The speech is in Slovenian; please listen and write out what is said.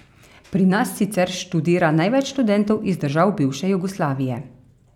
Pri nas sicer študira največ študentov iz držav bivše Jugoslavije.